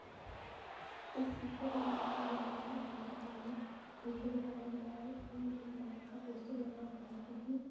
इस दृश्य में यूनान यूनैनियन बैंक नामक दृश्य दिखाया गया है। उसमें यूनियन बैंक का पोस्टर लगा हुआ है जोकि --